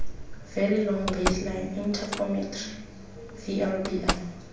very long baseline interferometry vlbi